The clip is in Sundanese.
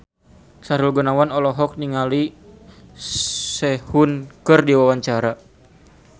Sahrul Gunawan olohok ningali Sehun keur diwawancara